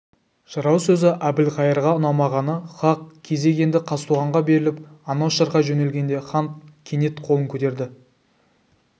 жырау сөзі әбілқайырға ұнамағаны хақ кезек енді қазтуғанға беріліп анау шырқай жөнелгенде хан кенет қолын көтерді